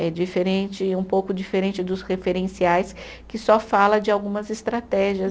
É diferente, um pouco diferente dos referenciais que só fala de algumas estratégias.